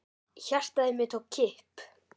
Hjartað í mér tók kipp.